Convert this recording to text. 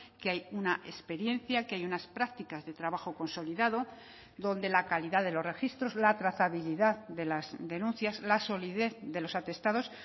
que hay una experiencia que hay unas prácticas de trabajo consolidado donde la calidad de los registros la trazabilidad de las denuncias la solidez de los atestados